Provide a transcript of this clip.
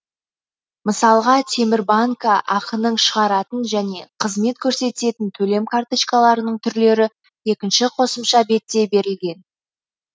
мысалға темірбанкі ақ ның шығаратын және қызмет көрсететін төлем карточкаларының түрлері екінші қосымша бетте берілген